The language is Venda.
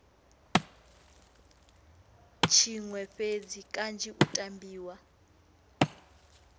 tshiṅwe fhedzi kanzhi u tambiwa